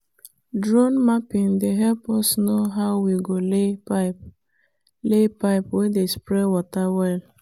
drone mapping dey help us know how we go lay pipe lay pipe wey dey spray water well.